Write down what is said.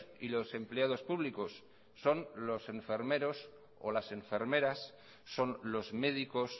y los empleados públicos son los enfermeros o las enfermeras son los médicos